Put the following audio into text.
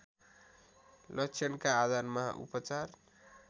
लक्षणका आधारमा उपचार